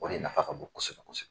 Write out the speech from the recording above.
O de nafa ka bon kosɛbɛ.